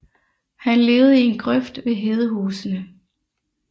Han levede i en grøft ved Hedehusene